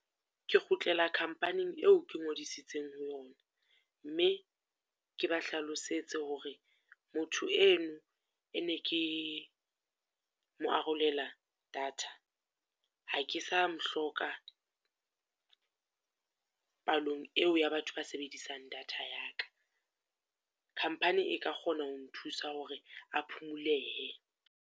Ke kgutlela company-ing eo ke ngodisitseng ho yona. Mme ke ba hlalosetse hore motho eno e ne ke, mo arolela data, ha ke sa mo hloka palong eo ea batho ba sebedisang data ya ka. Company e ka kgona ho nthusa hore a phumulehe.